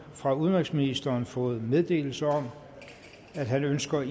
fra udenrigsministeren fået meddelelse om at han ønsker i